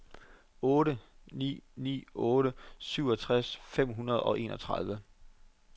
otte ni ni otte syvogtres fem hundrede og enogtredive